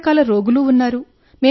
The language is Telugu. అన్ని రకాల రోగులు ఉన్నారు